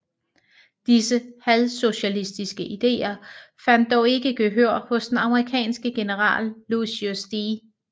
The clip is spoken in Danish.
Disse halvsocialistiske ideer fandt dog ikke gehør hos den amerikanske general Lucius D